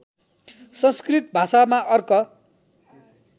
संस्कृत भाषामा अर्क